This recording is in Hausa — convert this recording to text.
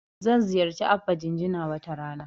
Zan ziyarci Abba Jinjina wata rana.